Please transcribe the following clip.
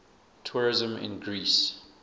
tourism in greece